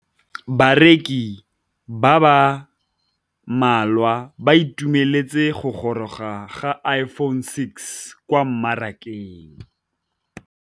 Bareki ba ba malwa ba ituemeletse go gôrôga ga Iphone6 kwa mmarakeng.